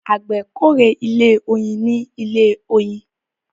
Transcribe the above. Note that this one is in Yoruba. àgbè k'ore ilé oyin ní ilè oyin